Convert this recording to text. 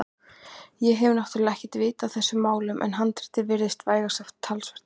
Ég hef náttúrlega ekkert vit á þessum málum en handritið virtist vægast sagt talsvert ellilegt.